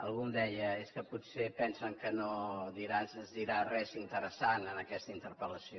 algú em deia és que potser pensen que no es dirà res interessant en aquesta interpel·lació